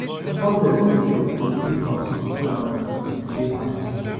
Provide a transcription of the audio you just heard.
my family expect say i go build house before i marry e dey hard